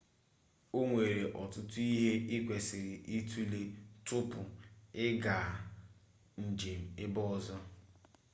onwere ọtụtụ ihe ị kwesịrị itule tupu ị gaa njem ebe ọzọ